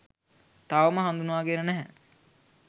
තවම හඳුනාගෙන නැහැ.